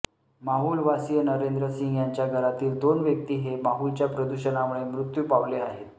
माहुल वासीय नरेंद्र सिंग यांच्या घरातील दोन व्यक्ती हे माहुलच्या प्रदूषणामुळे मृत्यू पावले आहेत